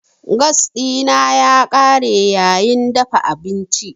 Gas dina ya kare yayin dafa abinci.